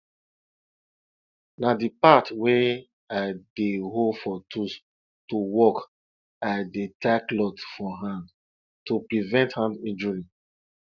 na di part wey i dey hold for tools to work i dey tie cloth for hand to prevent hand injury